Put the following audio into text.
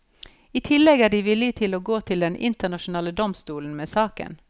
I tillegg er de villige til å gå til den internasjonale domstolen med saken.